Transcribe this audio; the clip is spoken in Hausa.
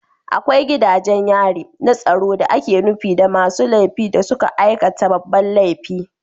Akwai gidajen yari na tsaro da ake nufi da masu laifi da suka aikata babban laifi